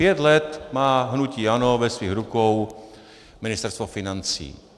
Pět let má hnutí ANO ve svých rukou Ministerstvo financí.